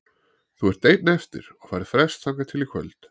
Þú ert einn eftir og færð frest þangað til í kvöld.